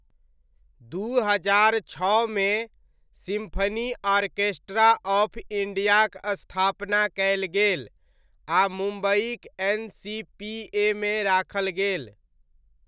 दू हजार छओमे, सिम्फनी आर्केस्ट्रा आफ इण्डियाक स्थापना कयल गेल, आ मुम्बइक एन.सी.पी.ए.मे राखल गेल।